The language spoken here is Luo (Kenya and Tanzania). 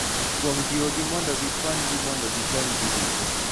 Kuom jiwogi mondo gikonygi mondo gikony ji duto.